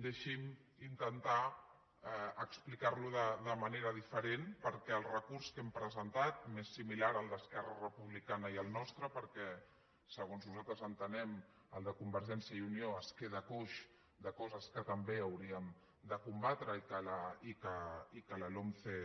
deixin me intentar explicar lo de manera diferent perquè el recurs que hem presentat més similars el d’esquerra republicana i el nostre perquè segons nosaltres entenem el de convergència i unió es queda coix de coses que també hauríem de combatre i que la lomce